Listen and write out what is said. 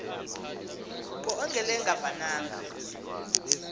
ke ongelenga vananga